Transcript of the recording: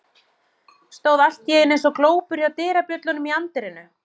Stóð allt í einu eins og glópur hjá dyrabjöllunum í anddyrinu.